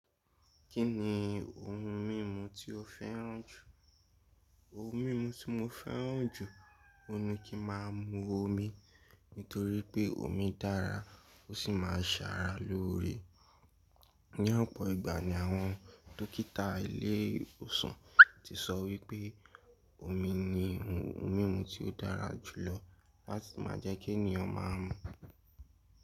Kí ni ohun mímu tí o fẹ́ràn jù? Ohun mímu tí mo fẹ́ràn jù, òun ni kí ma mu omi, nítorí pé omi dára ó sì máa ń ṣàrà lóore. Ní ọ̀pọ̀ ìgbà ni àwọn dókítà ilé ìwòsàn ti sọ wípé́ omi ni ohun mímu tí ó dára jùlọ láti má a jẹ́ kí ènìyàn má a mú.